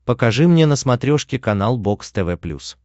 покажи мне на смотрешке канал бокс тв плюс